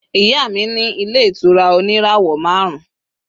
iya mi ni ile itura oni irawo marun